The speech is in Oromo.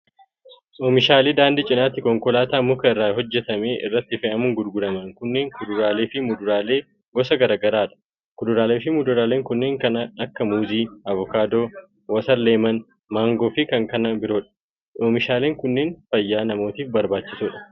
Oomishaaleen daandii cinaatti konkolaataa muka irraa hojjatame irratti fe'amuun gurguraman kunneen, kuuraalee fi muduraalee gosa garaa garaa dha. Kuduraalee fi muduraaleen kunneen kan akka:muuzii, avokaadoo, watarleemon, maangoo fi kanneen biroo dha. Oomishaalen kunneen fayyaa namaatif barbaachisoo dha.